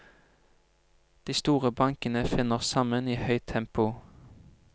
De store bankene finner sammen i høyt tempo.